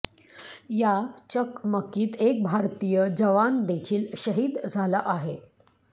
या चकमकीत एक भारतीय जवान देखील शहीद झाला आहे